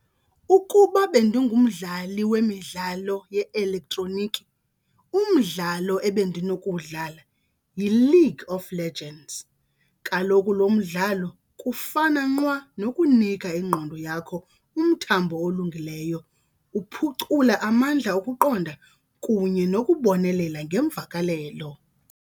Ukuba bendingumdlali wemidlalo ye-elektroniki umdlalo ebendinokuwudlala yiLeague of Legends. Kaloku lo mdlalo kufana nqwa nokunika ingqondo yakho umthambo olungileyo, uphucula amandla okuqonda kunye nokubonelela ngeemvakalelo.